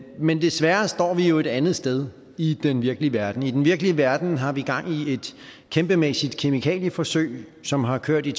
men desværre står vi jo et andet sted i den virkelige verden i den virkelige verden har vi gang i et kæmpemæssigt kemikalieforsøg som har kørt i